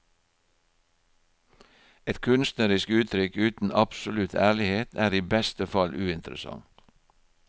Et kunstnerisk uttrykk uten absolutt ærlighet er i beste fall uinteressant.